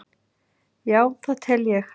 Já það tel ég.